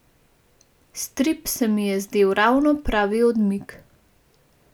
Strip se mi je zdel ravno pravi odmik.